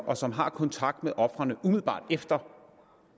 og som har kontakt med ofrene umiddelbart efter